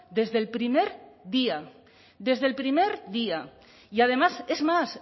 desde el primer día desde el primer día y además es más